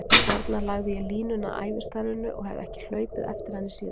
Þarna lagði ég línuna að ævistarfinu og hef hlaupið eftir henni síðan.